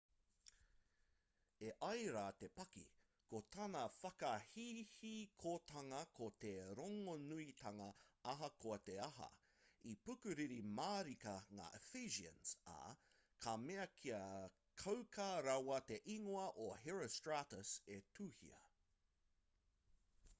e ai rā te paki ko tana whakahihikotanga ko te rongonuitanga ahakoa te aha i pukuriri mārika ngā ephesians ā ka mea kia kauka rawa te ingoa o herostratus' e tuhia